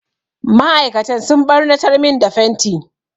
Ma'aikatan sun ɓarnatar min da fenti.